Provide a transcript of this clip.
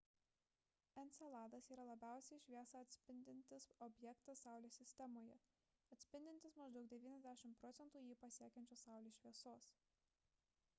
enceladas yra labiausiai šviesą atspindintis objektas saulės sistemoje atspindintis maždaug 90 procentų jį pasiekiančios saulės šviesos